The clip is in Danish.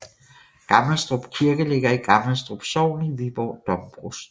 Gammelstrup Kirke ligger i Gammelstrup Sogn i Viborg Domprovsti